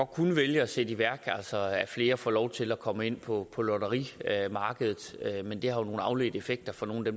kunne vælge at sætte i værk altså at flere får lov til at komme ind på på lotterimarkedet men det har jo nogle afledte effekter for nogle af